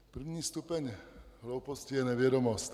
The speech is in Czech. První stupeň hlouposti je nevědomost.